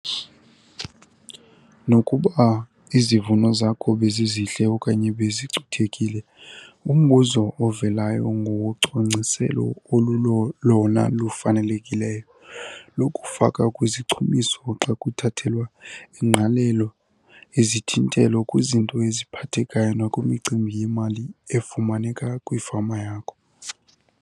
Nokuba izivuno zakho bezizihle okanye bezicuthekile umbuzo ovelayo ngowocwangciselo olulolona lufanelekileyo lokufakwa kwezichumiso xa kuthathelwa ingqalelo izithintelo kwizinto eziphathekayo nakwimicimbi yemali efumaneke kwifama yakho.